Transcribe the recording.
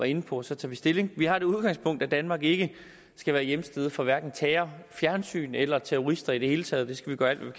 inde på og så tager vi stilling vi har det udgangspunkt at danmark ikke skal være hjemsted for hverken terrorfjernsyn eller terrorister i det hele taget det skal vi gøre alt hvad